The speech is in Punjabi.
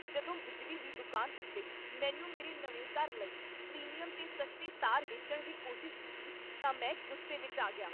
ਜਦੋਂ ਬਿਜਲੀ ਦੀ ਦੁਕਾਨ ਉੱਤੇ ਮੈਨੂੰ ਮੇਰੇ ਨਵੇਂ ਘਰ ਲਈ ਪ੍ਰੀਮੀਅਮ 'ਤੇ ਸਸਤੇ ਤਾਰ ਵੇਚਣ ਦੀ ਕੋਸ਼ਿਸ਼ ਕੀਤੀ ਤਾਂ ਮੈਂ ਗੁੱਸੇ ਵਿੱਚ ਆ ਗਿਆ।